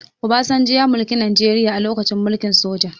Obasanjo ya mulki najeria a lokacin mulkin soja